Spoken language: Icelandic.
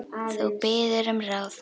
Þú biður um ráð.